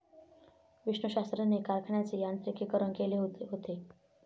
विष्णूशास्त्रींनी कारखान्याचे यांत्रिकीकरण केलेले होते.